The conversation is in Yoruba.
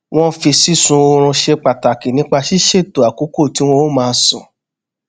wón fi sísun orun ṣe pàtàkì nípa ṣíṣètò àkókò tí wón á máa sùn